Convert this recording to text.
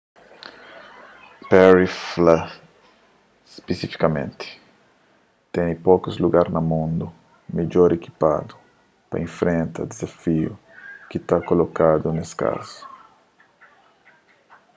perry fla spisifikamenti ten pokus lugaris na mundu midjor ikipadu pa infrenta dizafiu ki ta kolokadu nes kazu